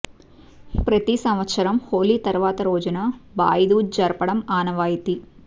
ప్రతి సంవత్సరం హోలీ తరువాత రోజున భాయ్ డూజ్ జరపడం ఆనవాయితీ